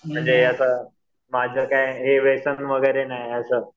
म्हणजे असं माझं काय हे व्यसन वगैरे नाही आहे असं